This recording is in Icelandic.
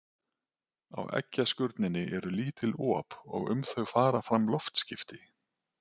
Á eggjaskurninni eru lítil op og um þau fara fram loftskipti.